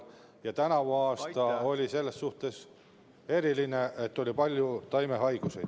Ja tänavune aasta oli selles suhtes eriline, et oli palju taimehaigusi.